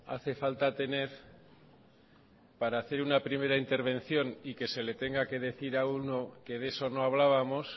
hace falta tener para hacer una primera intervención y que se le tenga que decir a uno que de eso no hablábamos